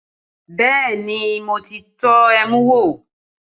Bẹẹ ni, mo ti tọ́ ẹmu wò